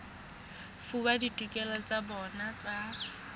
fuwa ditokelo tsa bona tsa